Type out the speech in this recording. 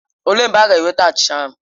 Olee mgbe ha ga-eweta achịcha ahụ?